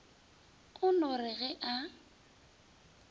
o no re ge a